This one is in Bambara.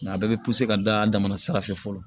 Nka a bɛɛ bɛ ka da damana sira fɛ fɔlɔ